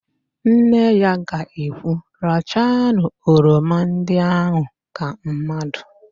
Nne ya ga ekwu, rachanu oroma ndị ahụ ka mmadụ"!